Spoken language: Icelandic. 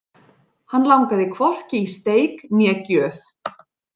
Hann langaði hvorki í steik né gjöf.